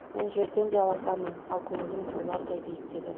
мен жерден де аласамын ал көңілім таулардай биіктегі